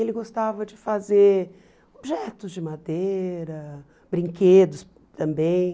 Ele gostava de fazer objetos de madeira, brinquedos também.